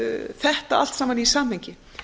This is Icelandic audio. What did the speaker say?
þetta allt saman í samhengi